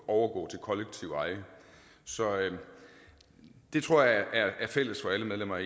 overgå til kollektivt eje så det tror jeg er fælles for alle medlemmer af